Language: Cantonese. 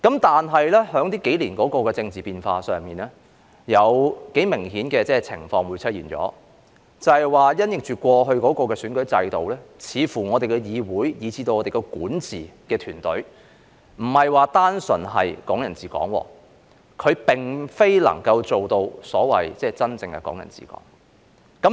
但是，經過這數年的政治變化，出現了一個相當明顯的情況，便是因應過去的選舉制度，似乎我們的議會以至管治團隊，不是單純的"港人治港"，它並不能做到所謂真正的"港人治港"。